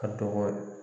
A dɔgɔ